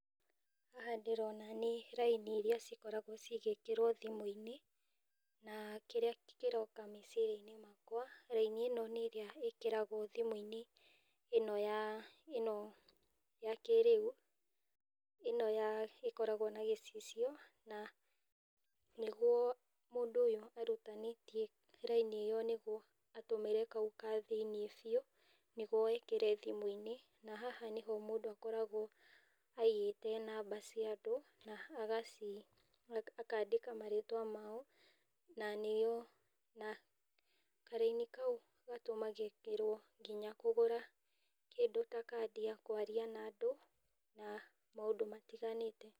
Haha ndĩrona nĩ raini ira cikoragwo cigĩkĩrwo thimũ-inĩ. Na kĩrĩa kĩroka meciria-inĩ makwa raini ĩno nĩ ĩrĩa ĩkĩragwo thimũ-inĩ ĩno ya, ĩno ya kĩrĩu, ĩno ya, ĩkoragwo na gĩcicio, na nĩguo mũndũ ũyũ arutanĩtie raini ĩyo nĩguo atũmĩre kau ka thĩiniĩ biu nĩguo ekĩre thimũ-inĩ, na haha nĩho mũndũ akoragwo aigĩte namba cia andũ, na agaci akandĩka marĩtwa mao, na nĩo, na karaini kau gatũmagĩrwo nginya kũgũra kindũ ta kandi ya kwaria na andũ, na maũndũ matiganĩte.